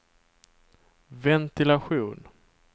ventilation